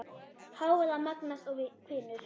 Hávaði magnast og hvinur.